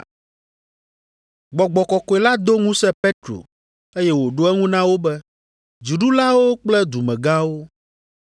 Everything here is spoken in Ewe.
Gbɔgbɔ Kɔkɔe la do ŋusẽ Petro, eye wòɖo eŋu na wo be, “Dziɖulawo kple dumegãwo!